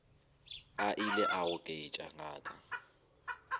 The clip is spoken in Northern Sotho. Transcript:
a ile a goketša ngaka